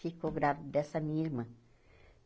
Ficou grávida dessa minha irmã.